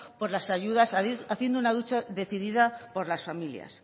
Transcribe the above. por las ayudas haciendo una lucha decidida por las familias